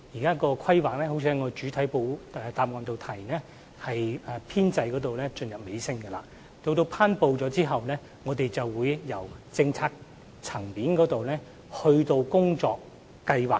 正如我在主體答覆中提到，現時《規劃》的編製工作已進入尾聲，在《規劃》頒布後，我們會在政策層面制訂工作計劃。